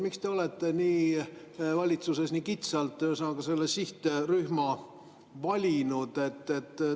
Miks te olete valitsuses selle sihtrühma nii kitsalt valinud?